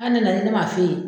nanen ne m'a f'e ye.